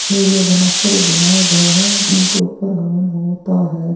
Area बनाकर बनाया गया है इनके ऊपर हवन होता है।